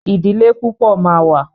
Ìdílé púpọ̀ ma wà.